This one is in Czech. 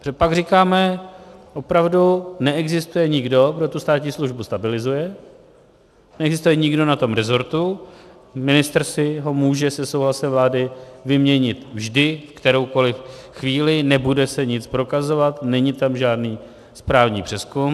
Protože pak říkáme: opravdu neexistuje nikdo, kdo tu státní službu stabilizuje, neexistuje nikdo na tom rezortu, ministr si ho může se souhlasem vlády vyměnit vždy, v kteroukoliv chvíli, nebude se nic prokazovat, není tam žádný správní přezkum.